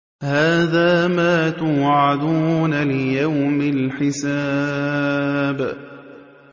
هَٰذَا مَا تُوعَدُونَ لِيَوْمِ الْحِسَابِ